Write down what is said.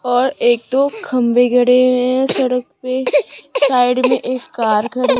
और एक दो खंबे गड़े हुए है सड़क पे साइड में एक कार खड़ी--